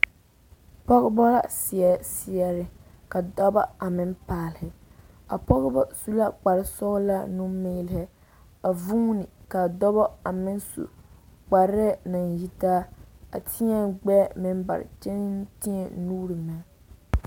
Pɔgebɔ seɛ seɛre ka dɔbɔ a meŋ paale, a Pɔgebɔ su la kpare sɔgelɔ nu-meele a vuuni ka dɔbɔ a meŋ su kparɛɛ naŋ yitaa a tēɛ gbɛɛ meŋ bare kyɛ tēɛ nuuri meŋ.